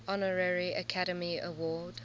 honorary academy award